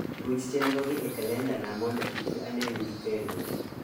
ruch chenro gi e kalendana mondo kiki anengi kendo